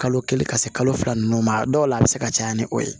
Kalo kelen ka se kalo fila nunnu ma a dɔw la a be se ka caya ni o ye